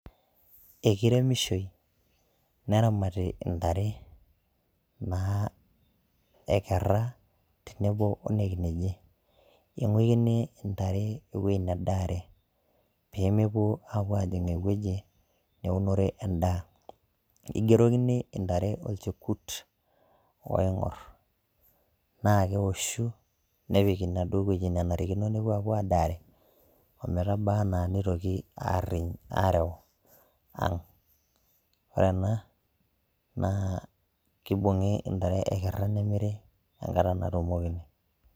ekiremishoi neramati intare naa ekerra tenebo onekineji ing'uikini intare ewueji nedaare pemepuo ajing ewueji neunore endaa igerokini intare olchekut oing'orr naa kewoshu nepik inaduo wueji nenarikino nepuo apuo adaare ometaba ana neitoki arriny arew ang ore ena naa kibung'i intare ekerra nemiri enkata natumokini.